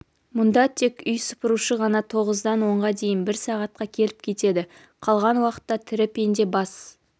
мұнда тек үй сыпырушы ғана тоғыздан онға дейін бір сағатқа келіп кетеді қалған уақытта тірі пенде бас